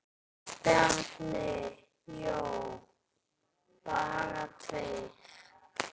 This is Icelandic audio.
Bjarni Jó: Bara tveir?!